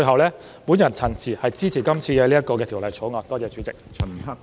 我謹此陳辭，支持《條例草案》，多謝主席。